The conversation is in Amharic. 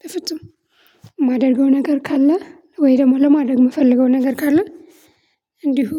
በፍጹም እማደርገው ነገር ካለ ወይ ደግሞ ለማድረግ የምፈልገው ነገር ካለ እንዲሁ